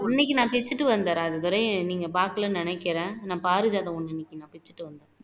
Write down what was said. இன்னைக்கு நான் பிச்சுட்டு வந்தேன் ராஜதுரை நீங்க பாக்கலன்னு நினைக்குறேன் நான் பாரிஜாதம் ஒண்ணு இன்னைக்கு நான் பிச்சுட்டு வந்தேன்